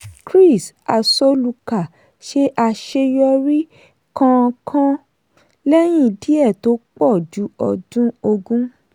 chris-asoluka ṣe àṣeyọrí kánkán lẹ́yìn díẹ̀ tó pọ̀ ju ọdún ogún.